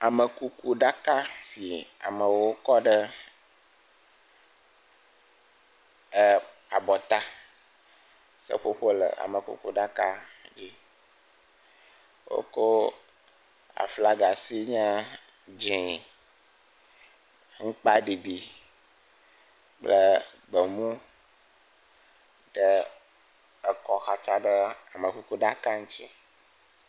Amekuku ɖaka si amewo kɔ ɖe e abɔta. Seƒoƒo le amekuku ɖaka dzi, woko aflaga sin ye dzee, aŋkpa ɖiɖi kple gbemu ɖe ekɔ xatsa ɖe amekuku ɖaka ŋuti.